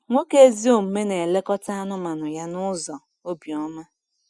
Nwoke ezi omume na-elekọta anụmanụ ya n’ụzọ obiọma.